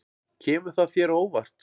Kemur það þér á óvart?